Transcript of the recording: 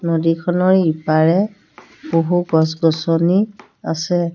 নদীখনৰ ইপাৰে বহু গছ-গছনি আছে।